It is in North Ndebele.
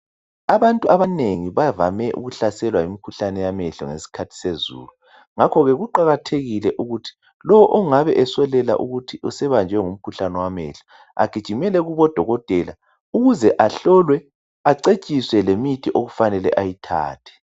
Abantu abanengi bavame ukuhlaselwa yimkhuhlane yamehlo ngeskhathi sezulu. Ngakhoke kuqakathekile ukuthi lo ongabe esolela ukuthi sebanjwe ngumkhuhlane wamehlo agijimele kubodokotela ukuze ahlolwe acetshiswe lemithi okufanele ayithathe.